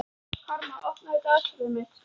Karma, opnaðu dagatalið mitt.